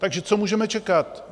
Takže co můžeme čekat?